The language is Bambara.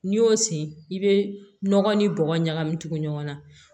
N'i y'o sen i bɛ nɔgɔ ni bɔgɔ ɲagami tugu ɲɔgɔn na